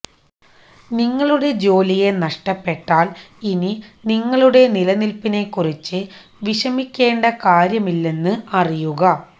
നിങ്ങളുടെ ജോലിയെ നഷ്ടപ്പെട്ടാൽ ഇനി നിങ്ങളുടെ നിലനിൽപ്പിനെക്കുറിച്ച് വിഷമിക്കേണ്ട കാര്യമില്ലെന്ന് അറിയുക